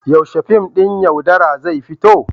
Yaushe fim ɗin "Yaudara" zai fito?